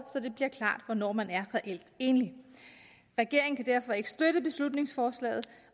så det bliver klart hvornår man er reelt enlig regeringen kan derfor ikke støtte beslutningsforslaget